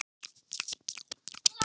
Bettý, hvaða mánaðardagur er í dag?